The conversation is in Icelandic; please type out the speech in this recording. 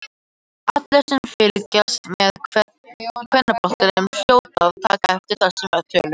Allir sem fylgjast með kvennabolta hljóta að taka eftir þessum tölum.